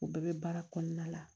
U bɛɛ bɛ baara kɔnɔna la